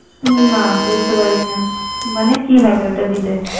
হম না, বুঝতে পারিনা, মানে কি হবে ওইটা দিলে।